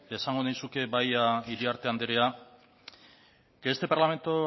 esango nizuke bai iriarte andrea que este parlamento